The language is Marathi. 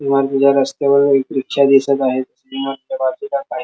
इमारतीच्या रस्तावर एक रिक्षा दिसत आहे इमारतीच्या बाजूला काही--